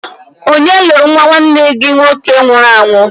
Onye lụrụ nnwa nwanne gị nwoke nwụrụ anwụ?